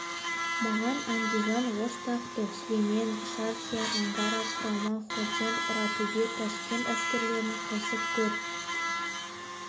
манған андижан ош тақты сүлеймен шархия ангара құрама ходжент ұратөбе ташкент әскерлерін қосып көр